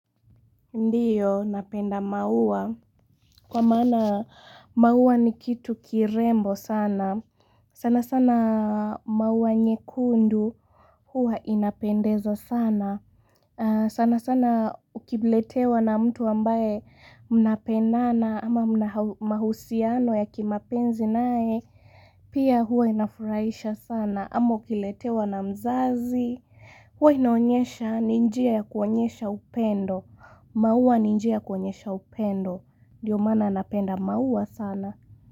Ndiyo, napenda maua. Kwa maana maua ni kitu kirembo sana. Sana sana maua nyekundu huwa inapendeza sana. Sana sana ukiletewa na mtu ambaye mnapendana ama mahusiano ya kimapenzi naye. Pia huwa inafurahisha sana. Ama ukiletewa na mzazi. Huwa inaonyesha ni njia ya kuonyesha upendo. Maua ni njia ya kuonyesha upendo. Ndio maana napenda maua sana.